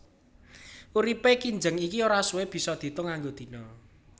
Uripé kinjeng iki ora suwé bisa diétung nganggo dina